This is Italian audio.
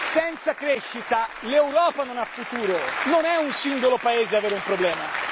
Senza crescita l'Europa non ha futuro, non è un singolo paese ad avere un problema.